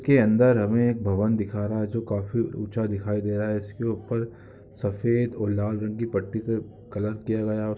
इसके अंदर हमें भवन दिखा रहा है जो काफी ऊंचा दिखाई दे रहा है इसके ऊपर सफेद और लाल रंग की पट्टी से कलर किया गया।